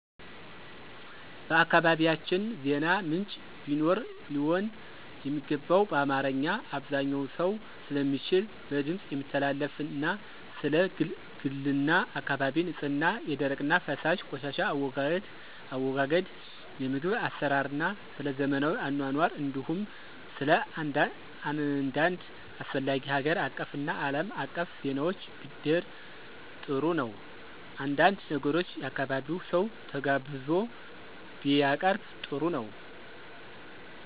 በአካባቢያቸን ዜና ምንጭ ቢኖር ሊሆን የሚገባው በአማርኛ(አብዛኛው ሰው ስለሚችል) በድምፅ የሚተላለፍና ስለ ግልና አካባቢ ንፅህና፣ የደረቅና ፈሳሽ ቆሻሻ አወጋገድ፣ የምግብ አሰራርና ስለዘመናዊ አኗኗር እንዲሁም ስለአንዳድ አስፈላጊ ሀገር አቀፍና አለም አቀፍ ዜናዎች ቢደር ጥሩ ነው። አንዳንድ ነገሮች የአካባቢው ሰው ተጋብዞ ቢያቀርብ ጥሩ ነው።